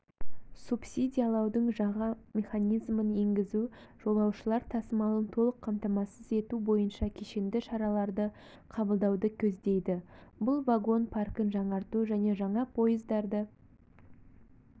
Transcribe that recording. субсидиялаудың жаңа механизмін енгізу жолаушылар тасымалын толық қамтамасыз ету бойынша кешенді шараларды қабылдауды көздейді бұл вагон паркін жаңарту және жаңа пойыздарды